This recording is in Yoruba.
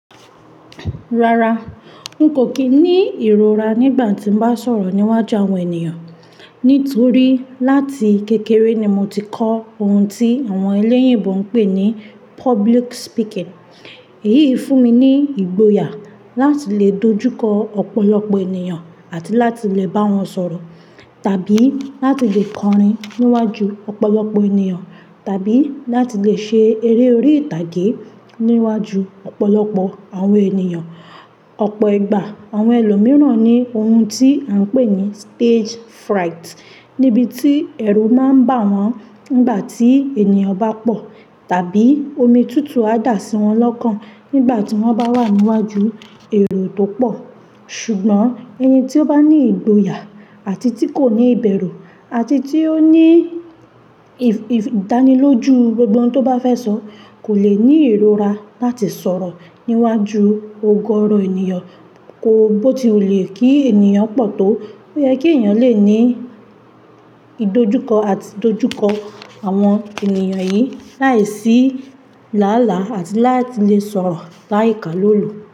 Rara, n kò kí ní ìrora nígbà tí n bá sọ̀rọ̀ níwájú àwọn ènìyàn. Nítorí láti kékeré ni mo ti kọ́ ohun tí àwọn elẹ́yìnbo ń pè ní public speaking. Èyí fún mi ní ìgboyà láti lè dojúkọ ọ̀pọ̀lọpọ̀ ènìyàn àti láti lè bá wọn sọ̀rọ̀, tàbí láti lè kọrin níwájú ọ̀pọ̀lọpọ̀ ènìyàn, tàbí láti lè ṣe eré orí ìtàgé níwájú ọ̀pọ̀lọpọ̀ àwọn ènìyàn. Ọ̀pọ̀ ìgbà àwọn ẹlòmíràn ní ohun tí a ń pè ní stage fright níbi tí ẹ̀rù máa ń bà wọ́n nígbà tí ènìyàn bá pọ̀, tàbí omi tutu á dà síwọn lọ́kàn nígbà tí wọ́n bá wà níwájú èrò tó pọ̀. Ṣùgbọ́n ẹni tí ó bá ní ìgboyà àti tí kò ní ìbẹ̀rù àti tí ó ní ì-ì-ìdánilójú gbogbo ọ̀ún tó bá fẹ́ sọ kò le ní ìrora láti sọ̀rọ̀ níwájú ogọrọ ènìyàn, kó bó ti wù lé kí ènìyàn pọ̀ tó. Ó yẹ kí ènìyàn lè ní ìdojúkọ àti ìdojúkọ àwọn ènìyàn yìí láìsí làálàá àti láti lè sọ̀rọ̀ láìka lólo.